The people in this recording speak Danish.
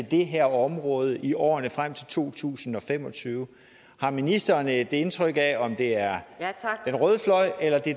det her område i årene frem til 2025 har ministeren et indtryk af om det er